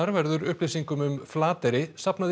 verður upplýsingum um Flateyri safnað í